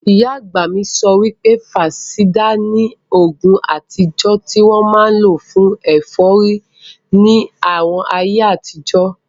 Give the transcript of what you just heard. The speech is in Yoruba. Ìyá àgbà mi sọ pé, fansáídà ni oògùn àtijọ́ tí wọ́n máa n lò fún ẹ̀fọ́rí ní àwọn ayé àtijọ́